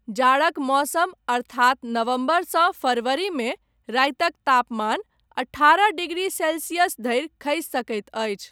जाड़क मौसम अर्थात नवम्बरसँ फरवरी मे, रातिक तापमान अठारह डिग्री सेल्सियस धरि खसि सकैत अछि।